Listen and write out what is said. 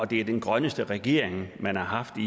det er den grønneste regering man har haft i